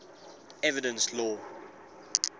evidence law